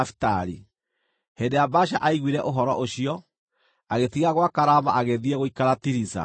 Hĩndĩ ĩrĩa Baasha aiguire ũhoro ũcio, agĩtiga gwaka Rama, agĩthiĩ gũikara Tiriza.